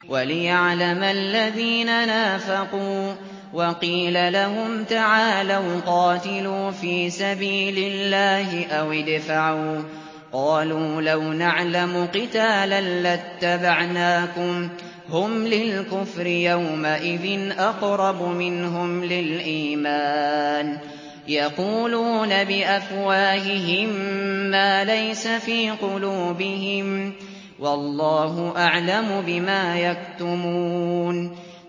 وَلِيَعْلَمَ الَّذِينَ نَافَقُوا ۚ وَقِيلَ لَهُمْ تَعَالَوْا قَاتِلُوا فِي سَبِيلِ اللَّهِ أَوِ ادْفَعُوا ۖ قَالُوا لَوْ نَعْلَمُ قِتَالًا لَّاتَّبَعْنَاكُمْ ۗ هُمْ لِلْكُفْرِ يَوْمَئِذٍ أَقْرَبُ مِنْهُمْ لِلْإِيمَانِ ۚ يَقُولُونَ بِأَفْوَاهِهِم مَّا لَيْسَ فِي قُلُوبِهِمْ ۗ وَاللَّهُ أَعْلَمُ بِمَا يَكْتُمُونَ